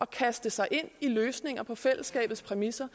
kaste sig ind i løsninger på fællesskabets præmisser